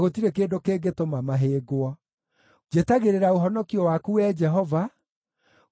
Njetagĩrĩra ũhonokio waku, Wee Jehova, na ngarũmĩrĩra maathani maku.